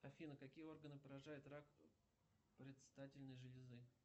афина какие органы поражает рак предстательной железы